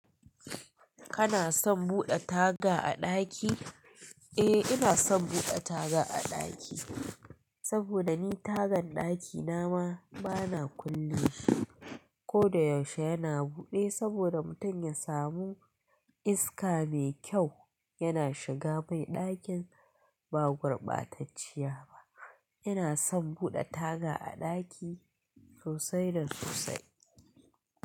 Kana son buɗe taga a ɗaki? Eh ina son buɗe taga a ɗaki, saboda ni tagan ɗakina ma bana kullle shi. Ko da yaushe yana buɗe saboda mutum ya samu iska mai kyau. Yana shiga mai ɗakin ba gurbatacciya ba. Ina son buɗe taga a ɗaki sosai da sosai.